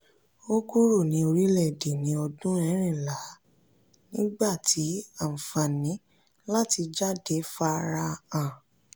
ó kúrò ní orílẹ̀-èdè ní ọdún ẹ̀rinlá nígbà tí àfààní láti jáde farahàn.